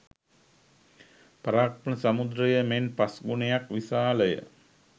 පරාක්‍රම සමුද්‍රය මෙන් පස් ගුණයක් විශාල ය.